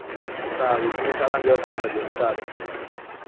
તો સારું તું મને સાડા આઠ જેવા phone કરજે સારું